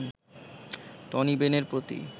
Tony বেনের প্রতি